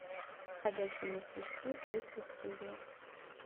ходячие мертвецы третья серия